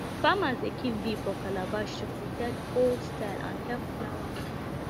farmers dey keep bee for calabash to protect old style and help flower mature